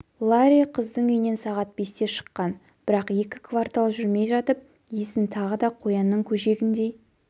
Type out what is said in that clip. ларри қыздың үйінен сағат бесте шыққан бірақ екі квартал жүрмей жатып есін тағы да қоянның көжегіндей